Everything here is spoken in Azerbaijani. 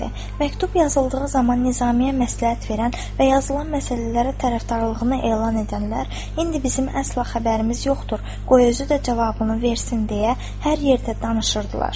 Məktub yazıldığı zaman Nizami-yə məsləhət verən və yazılan məsələlərə tərəfdarlığını elan edənlər, indi bizim əsla xəbərimiz yoxdur, qoy özü də cavabını versin deyə hər yerdə danışırdılar.